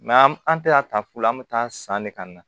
an tɛ ka ta fu la an bɛ taa san ne ka na